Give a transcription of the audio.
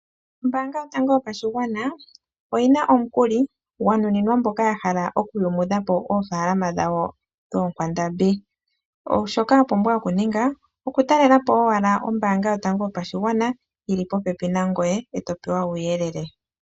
Ombaanga yotango yopashigwana oyi na omukuli gwanuninwa aantu mboka yahala okuyumudhapo oofalama dhawo dhoonkwandambi. Shoka wapumbwa okuninga okutalelapo owala ombaanga yopashigwana eto pewa uuyelele.